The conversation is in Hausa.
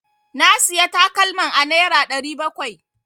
Na Siya takalman a nera ɗari bakwai.